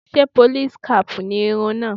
Ṣé pólís kaàpù ni irun náà?